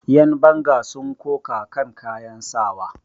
Yanbanga sun koka kan kayan sawa.